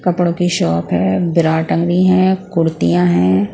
कपड़ों की शॉप है ब्रा टंगी है कुर्तियां है ।